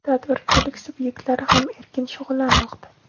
tadbirkorlik sub’ektlari ham erkin shug‘ullanmoqda.